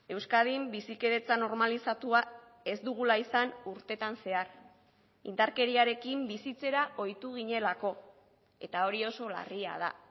euskadin bizikidetzan normalizatua ez dugula izan urtetan zehar indarkeriarekin bizitzera ohitu ginelako eta hori oso larria da